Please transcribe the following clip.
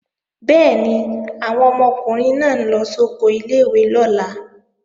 Bẹ́ẹ̀ni, àwọn ọmọkùnrin náà ń lọ sóko ilé-ìwé lọ́la